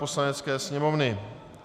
Poslanecké sněmovny